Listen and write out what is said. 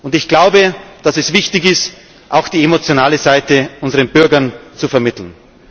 Europäer. Und ich glaube, dass es wichtig ist, auch die emotionale Seite unseren Bürgern zu vermitteln.